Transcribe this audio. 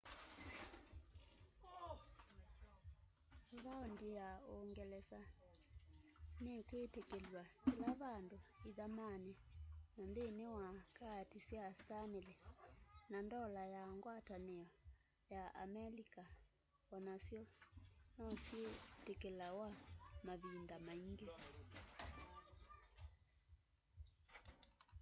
vaondi ya uungelesa nikwitikilw'a kila vandu ithamani na nthini wa kaati sya stanley na ndola ya ngwatanio ya amelikaonasyo nosyitikilothaw'a mavinda maingi